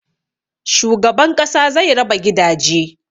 Shugaban ƙasa zai raba gidaje